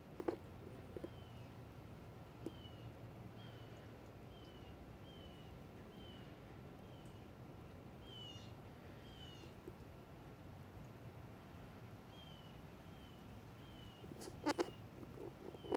Ma jiro barnaamij daawayn oo la aasaasay oo loogu talagalay HTLV 1 ee la xidhiidha myelopathy mise paraparesiska spastika kulaylaha (HAM miseTSP).